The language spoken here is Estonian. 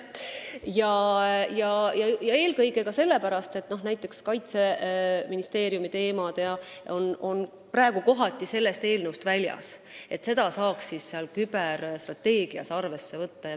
Eelkõige sellepärast, et näiteks Kaitseministeeriumi teemad on jäänud kohati sellest eelnõust välja ja neid saaks arvesse võtta seal.